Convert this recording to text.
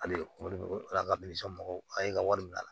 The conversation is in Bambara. Hali ala ka mɔgɔw y'e ka wari bila